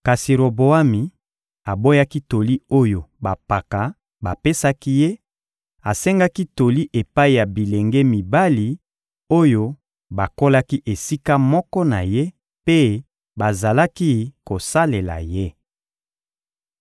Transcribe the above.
Kasi Roboami aboyaki toli oyo bampaka bapesaki ye; asengaki toli epai ya bilenge mibali oyo bakolaki esika moko na ye mpe bazalaki kosalela ye.